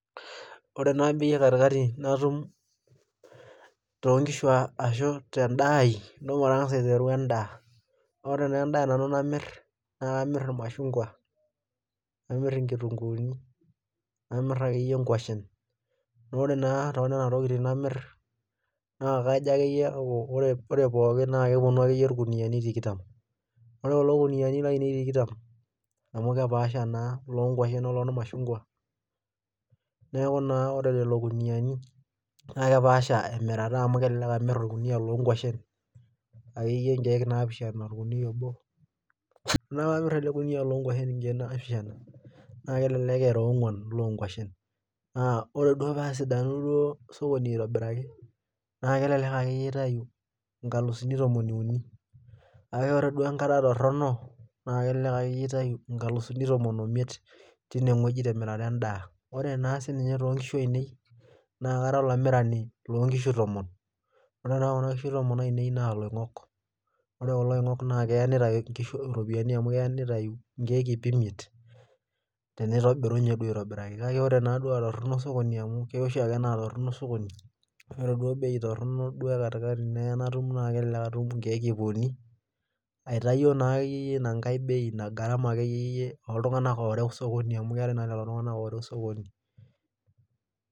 Ore naa katikati natum too nkishu ashu tedaa ai, naa intosho. matangasa aiteru edaa. ore naa edaa nanu namir naa kamir irmashungua. namir inkitunkuuni. namir akeyie nkuashen. naa ore naa too nena tokitin namir naa kajo akeyie aaku ore pokin naa kepuonu irkuniyiani tikitam. ore kill kuniyiaani laainei tikitam, amu kepaasha naa ilooti nkuashen oormashungua. neeku naa ore lelo kuniyiaani naa kepaasha emirata amu kelelek amir orkiniyia looo nkwashen akeyie inkeek naapishana ashu orkiniyia obo naa tenamir ele kuniyia nkeek naapishana naa kelelek era onguan iloo nguashen. naa ore duo paa sidanu duo sokoni aitobiraki naa kelelek akeyie aitayu nkalusuni tomon iuni. kake ore duo enkata torono elelek ake intayu nkalusuni tomon oimiet teina wueji temirata edaa. Ore naa sii ninye too nkishu ainei, naa Kara olamirani loo nkishu tomon. ore taa Kuna kishu tomon ainei naa ilongok. ore kulo oingok naa keyakiyata ake nkishu ropiyiani amu keya nitayu nkeek ip imiet. nitobirunye duo aitobiraki kake pre duo aatorono sokoni amu, keya oshiake naa torono sokoni ore duo bei, Torono duo ekatikati naa kelelek atum nkeek ip uni. aitayio naa akeyie Ina garama ooltunganak ooreu sokoni. amu keetae naa sokoni.